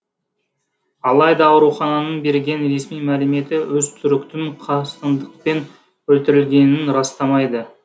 алайда аурухананың берген ресми мәліметі өзтүріктің қастандықпен өлтірілгенін растамайды